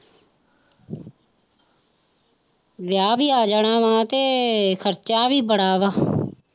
ਵਿਆਹ ਵੀ ਆ ਜਾਣਾ ਵਾਂ ਤੇ ਖ਼ਰਚਾ ਵੀ ਬੜਾ ਵਾ